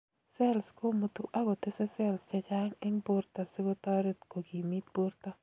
cells kumutu akotese cells chechang ing borta sikotaret kokimit borta